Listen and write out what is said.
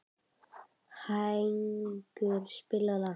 Hængur, spilaðu lag.